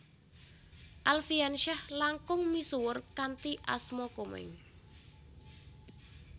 Alfiansyah langkung misuwur kanthi asma Komeng